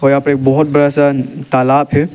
यहाँ पे एक बहुत बड़ा सा तालाब है।